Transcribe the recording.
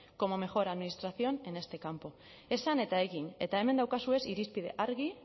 como mejor administración en este campo esan eta egin eta hemen dauzkazue irizpide argi